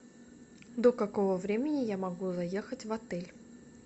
до какого времени я могу заехать в отель